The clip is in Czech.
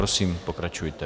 Prosím, pokračujte.